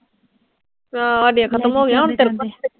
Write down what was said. ਹਾਂ ਸਾਡੇ ਖਤਮ ਹੋਗੀਆਂ, ਹੁਣ